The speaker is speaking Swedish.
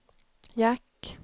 jack